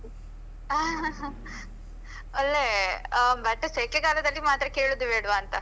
ಒಳ್ಳೆ, ಆ but ಸೆಕೆ ಕಾಲದಲ್ಲಿ ಮಾತ್ರ ಕೇಳುದೇ ಬೇಡ್ವಾ ಅಂತ.